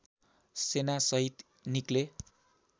सेनासहित निक्ले